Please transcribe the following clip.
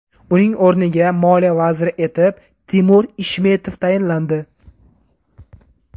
Uning o‘rniga moliya vaziri etib Timur Ishmetov tayinlandi.